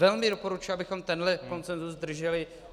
Velmi doporučuji, abychom tenhle konsenzus drželi.